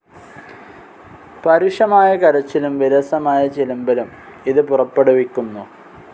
പരുഷമായ കരച്ചിലും, വിരസമായ ചിലമ്പലും ഇത് പുറപ്പെടുവിക്കുന്നു.